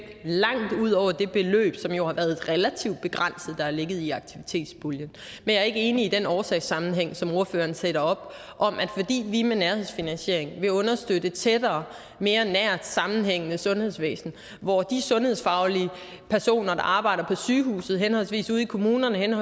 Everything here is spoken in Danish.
langt ud over det beløb som jo har været relativt begrænset der har ligget i aktivitetspuljen men jeg er ikke enig i den årsagssammenhæng som ordføreren sætter op om at det vi med nærhedsfinansiering vil understøtte et tættere og mere nært og sammenhængende sundhedsvæsen hvor de sundhedsfaglige personer der arbejder på sygehusene eller i kommunerne eller